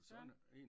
Søren